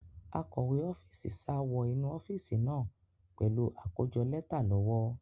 Akọ̀we ọ́fíìsì sá wọ inú ọ́fíìsì náà pẹ̀lú àkójọ lẹ́tà lọ́wọ́.